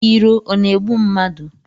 Iro ọ na-egbu mmadụ?